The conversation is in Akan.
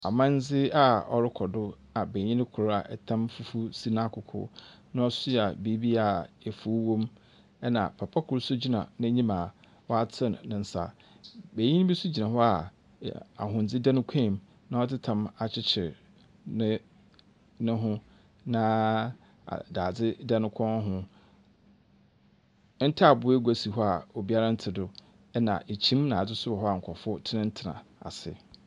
Amambra a ɔrokɔ do a banyin kor a tam fufuw si n’akoko na ɔsoa biribi a efuw wɔ mu, na papa kor so gyina n’enyim a wɔatsen ne nsa. Banyin bi so gyina hɔ a ahondze da no kɔnmu na ɔdze tam akyekyer ne no ho na daadze da no kɔn ho. Ntaabow egu si hɔ a obiara nntse do, na kyim na adze so wɔ hɔ nkorɔfo tsenatsena ase.